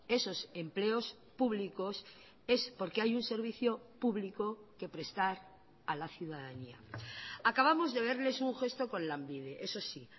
esos empleos públicos es porque hay un servicio público que prestar a la ciudadanía acabamos de verles un gesto con lanbide eso sí